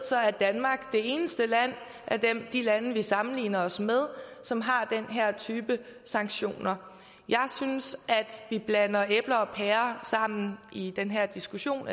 er danmark det eneste land blandt de lande vi sammenligner os med som har den her type sanktioner jeg synes at vi blander æbler og pærer sammen i den her diskussion